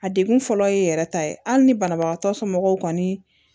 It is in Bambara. A degun fɔlɔ ye yɛrɛ ta ye hali ni banabagatɔ somɔgɔw